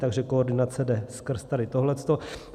Takže koordinace jde skrz tady tohleto.